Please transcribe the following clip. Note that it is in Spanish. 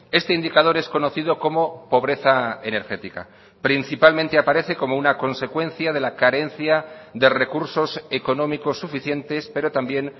este indicador es conocido como pobreza energética principalmente aparece como una consecuencia de la carencia de recursos económicos suficientes pero también